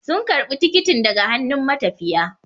Sun karbi tikitin daga hannun matafiya